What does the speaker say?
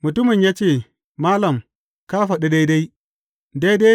Mutumin ya ce, Malam, ka faɗi daidai.